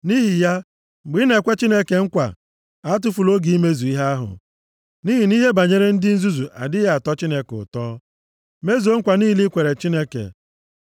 Nʼihi ya, mgbe ị na-ekwe Chineke nkwa, atụfula oge imezu ihe ahụ, nʼihi na ihe banyere ndị nzuzu adịghị atọ Chineke ụtọ. Mezuo nkwa niile i kwere Chineke.